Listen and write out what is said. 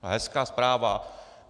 Hezká zpráva.